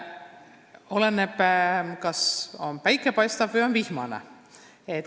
Oleneb, kuidas võtta – kas päike paistab või on vihmane.